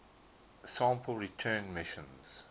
sample return missions